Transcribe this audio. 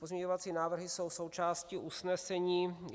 Pozměňovací návrhy jsou součástí usnesení.